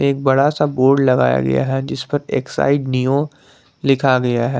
एक बड़ा सा बोर्ड लगाया गया है जिसपर एक्साइड नियो लिखा गया है।